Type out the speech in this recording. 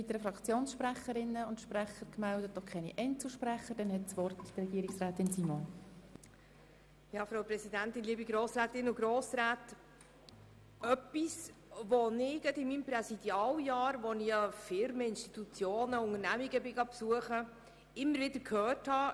Als ich gerade während meines Präsidialjahrs Firmen, Institutionen und Unternehmungen besuchte, habe ich oft gehört: